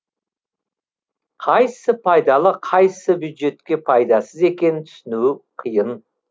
қайсысы пайдалы қайсысы бюджетке пайдасыз екенін түсіну қиын